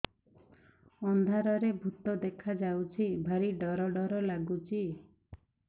ଅନ୍ଧାରରେ ଭୂତ ଦେଖା ଯାଉଛି ଭାରି ଡର ଡର ଲଗୁଛି